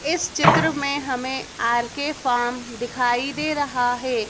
इस चित्र में हमें आर_के फार्म दिखाई दे रहा है।